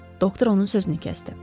Doktor onun sözünü kəsdi.